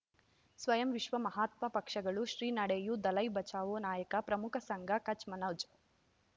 ಸ್ವಯಂ ವಿಶ್ವ ಮಹಾತ್ಮ ಪಕ್ಷಗಳು ಶ್ರೀ ನಡೆಯೂ ದಲೈ ಬಚೌ ನಾಯಕ ಪ್ರಮುಖ ಸಂಘ ಕಚ್ ಮನೋಜ್